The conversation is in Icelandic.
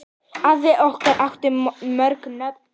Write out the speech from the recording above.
Afi okkar átti mörg nöfn.